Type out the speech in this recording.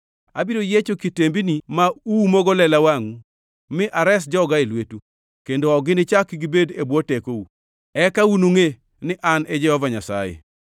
Abiro yiecho kitembini ma uumogo lela wengeu mi ares joga e lwetu, kendo ok ginichak gibed e bwo tekou. Eka unungʼe ni An e Jehova Nyasaye.